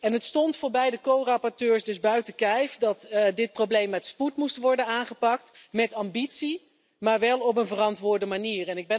En het stond voor beide co rapporteurs dus buiten kijf dat dit probleem met spoed moest worden aangepakt, met ambitie, maar wel op een verantwoorde manier.